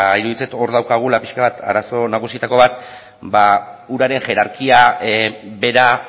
iruditzen zait hor daukagula pixka bat arazo nagusietako bat ba uraren jerarkia bera